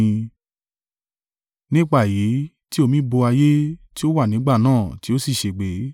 Nípa èyí tí omi bo ayé tí ó wà nígbà náà tí ó sì ṣègbé.